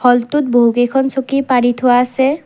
হলটোত বহু কেইখন চকী পাৰি থোৱা আছে।